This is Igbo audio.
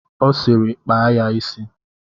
Ọ sịịrị kpaa ya isi!